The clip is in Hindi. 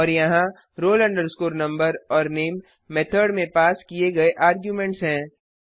और यहाँ roll number और नामे मेथड में पास किए गए आर्ग्युमेंट्स हैं